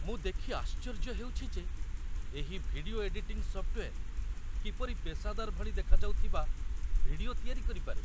ମୁଁ ଦେଖି ଆଶ୍ଚର୍ଯ୍ୟ ହେଉଛି ଯେ ଏହି ଭିଡିଓ ଏଡିଟିଙ୍ଗ୍ ସଫ୍ଟୱେର୍ କିପରି ପେସାଦାର ଭଳି ଦେଖାଯାଉଥିବା ଭିଡିଓ ତିଆରି କରିପାରେ।